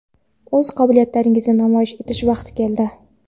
o‘z qobiliyatlaringizni namoyish etish vaqti keldi!.